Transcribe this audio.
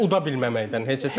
Daha doğrusu uda bilməməkdən.